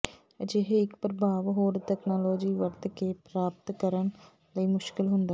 ਅਜਿਹੇ ਇੱਕ ਪ੍ਰਭਾਵ ਹੋਰ ਤਕਨਾਲੋਜੀ ਵਰਤ ਕੇ ਪ੍ਰਾਪਤ ਕਰਨ ਲਈ ਮੁਸ਼ਕਲ ਹੁੰਦਾ ਹੈ